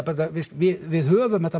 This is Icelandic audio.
við höfum